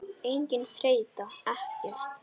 Engin þreyta, ekkert.